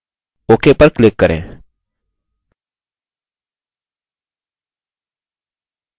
ok पर click करें